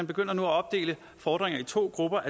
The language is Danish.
begynder at opdele fordringer i to grupper